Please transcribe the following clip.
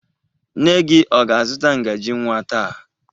Nne gị ọ ga-azụta ngaji nwa taa?